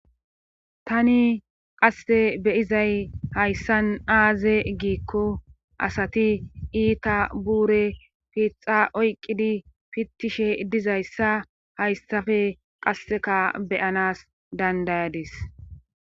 tani qasse beyizay hayssan aaze giikko asati iita buure pixa oyqqidi fittishe dizayssa hayssafe qasseka beyanas dandayadis